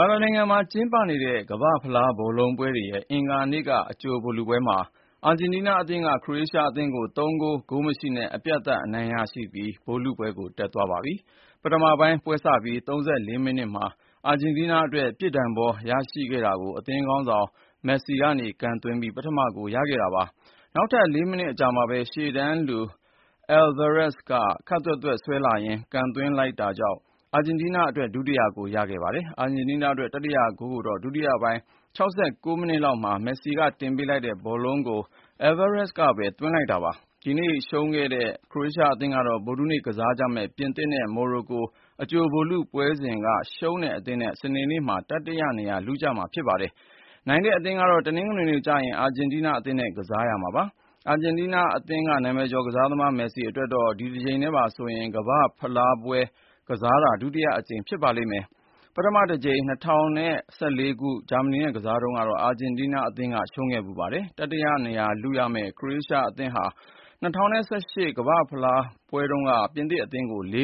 ာနိုင်ငံမှာ ကျင်းပနေတဲ့ ကမ္ဘာ့ဖလား ဘောလုံးပွဲတွေရဲ့ အင်္ဂါနေ့က အကြိုဗိုလ်လုပွဲမှာ အာဂျင်တီးနားအသင်းက ခရိုအေးရှားအသင်းကို ၃ ဂိုး၊ ဂိုးမရှိနဲ့ အပြတ်သတ် အနိုင်ရပြီး ဗိုလ်လုပွဲကို တက်သွားပြီဖြစ်ပါတယ်။ ပထမပိုင်းပွဲစပြီး ၃၄ မိနစ်မှာ အာဂျင်တီးနားအတွက် ပြစ်ဒဏ်ဘော ရရှိခဲ့တာကို အသင်းခေါင်းဆောင် Lionel Messi က ကန်သွင်းပြီး ပထမဂိုးရခဲ့တာပါ။ နောက်ထပ် ၄ မိနစ်အကြာမှာပဲ ရှေ့တန်းလူ Julian Alvarez က ခပ်သွက်သွက် ဆွဲလာရင်း ကန်သွင်းလိုက် တာကြောင့် အာဂျင်တီးနားအတွက် ဒုတိယဂိုး ထပ်ရခဲ့ပါတယ်။ အာဂျင်တီးနားအတွက် တတိယဂိုးကိုတော့ ဒုတိယပိုင်း ၆၉ မိနစ်လောက်မှာ Messi တင်ပေးလိုက်တဲ့ ဘောလုံးကို Alvarez ကပဲ သွင်းလိုက်တာပါ။ ဒီနေ့ရှုံးခဲ့တဲ့ ခရိုအေးရှား အသင်းကတော့ ဗုဒ္ဓဟူးနေ့ ကစားကြမယ့် ပြင်သစ်နဲ့ မော်ရိုကို အကြိုဗိုလ်လုပွဲစဉ်က ရှုံးတဲ့အသင်းနဲ့ စနေနေ့မှာ တတိယနေရာ လုရမှာ ဖြစ်ပါတယ်။ နိုင်တဲ့အသင်းကတော့ တနင်္ဂနွေနေ့ကျရင် အာဂျင်တီးနား အသင်းနဲ့ ကစားရမှာပါ။ အာဂျင်တီးနားအသင်းက နာမည်ကျော်ကစားသမား Messi အတွက်တော့ ဒီတကြိမ်နဲ့ပါဆိုရင် ကမ္ဘာ့ဖလားဗိုလ်လုပွဲ ကစားတာ ဒုတိယအကြိမ် ဖြစ်ပါလိမ့်မယ်။ ပထမတကြိမ် ၂၀၁၄ ခုနှစ်က ဂျာမနီနဲ့ ကစားတုန်းကတော့ အာဂျင်တီးနားအသင်းက ရှုံးခဲ့ဖူးပါတယ်။ တတိယနေရာလုရမယ့် ခရိုအေးရှားအသင်းဟာ ၂၀၁၈ ခုနှစ် ကမ္ဘာ့ဖလား ဗိုလ်လုပွဲတုန်းက ပြင်သစ်အသင်းကို ၄